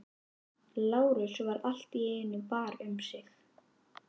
Lárus varð allt í einu var um sig.